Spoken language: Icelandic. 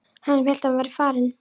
Hann sem hélt að hann væri farinn!